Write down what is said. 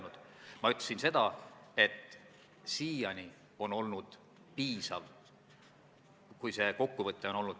Kui ma õigesti aru saan, siis seda siia eelnõusse ei tulnud.